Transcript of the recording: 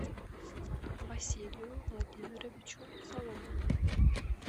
василию владимировичу соломину